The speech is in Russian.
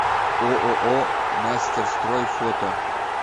ооо мастерстрой фото